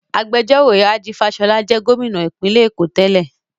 Agbẹjọ́rò Rájí Fáṣọlá jẹ́ Gómìnà ìpínlẹ̀ Èkó tẹ́lẹ̀